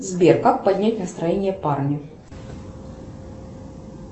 сбер как поднять настроение парню